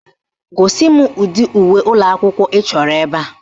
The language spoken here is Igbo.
Gosi m ụdị uwe ụlọakwụkwọ ị chọrọ ebe a